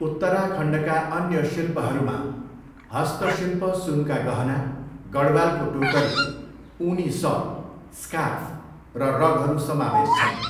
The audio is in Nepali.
उत्तराखण्डका अन्य शिल्पहरूमा हस्तशिल्प सुनका गहना, गढवालको टोकरी, ऊनी सल, स्कार्फ र रगहरू समावेश छन्।